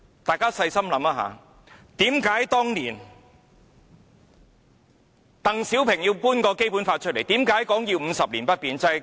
大家細心想想，為何當年鄧小平要把《基本法》搬出來，為何說要50年不變？